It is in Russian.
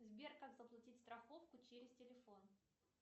сбер как заплатить страховку через телефон